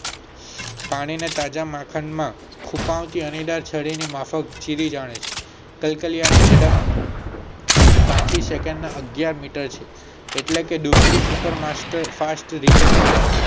પાણી માં તાજા માંકડ નો ખૂંપાવ થી અણીદાર છરી ની માફક ચીરી રહ્યા છે કલ્કિયા ની ઝડપ ત્યાસી second એન્ડ અગિયાર મીટર છે એટલે કે ડૂબકી ફાસ્ટ રીતે મારે છે.